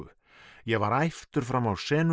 ég var æptur fram á